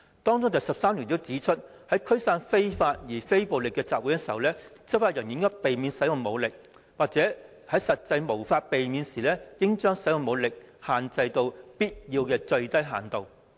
當中第13條訂明，在驅散非法而非暴力的集會時，執法人員應避免使用武力，或在實際無法避免時應將使用武力限制到必要的最低限度。